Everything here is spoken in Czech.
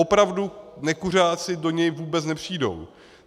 Opravdu nekuřáci do něj vůbec nepřijdou.